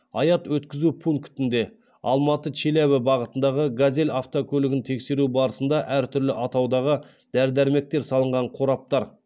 аят өткізу пунктінде алматы челябі бағытындағы газель автокөлігін тексеру барысында әртүрлі атаудағы дәрі дәрмектер салынған қораптар